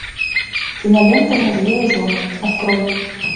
кинолента мужья и жены открой